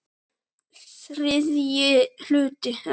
ÞRIðJI HLUTI